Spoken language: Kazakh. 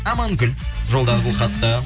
амангүл жолдады бұл хатты